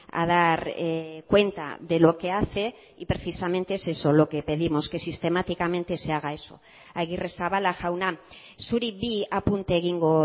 a dar cuenta de lo que hace y precisamente es eso lo que pedimos que sistemáticamente se haga eso agirrezabala jauna zuri bi apunte egingo